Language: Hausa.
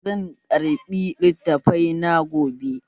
Zan ƙarɓi littafai na gobe